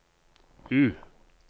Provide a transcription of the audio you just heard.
U